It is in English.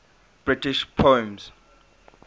british poems